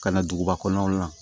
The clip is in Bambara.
Ka na duguba kɔnɔnaw la